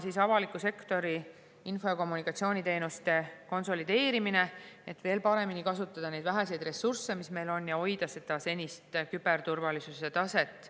Tuleb avaliku sektori info- ja kommunikatsiooniteenuste konsolideerimine, et veel paremini kasutada neid väheseid ressursse, mis meil on, ja hoida senist küberturvalisuse taset.